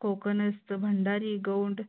Kokanastha Bhandari Gond